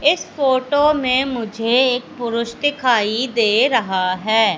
इस फोटो मे मुझे एक पुरुष दिखाई दे रहा है।